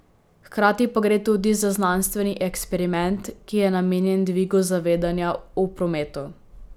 Hkrati pa gre tudi za znanstveni eksperiment, ki je namenjen dvigu zavedanja v prometu.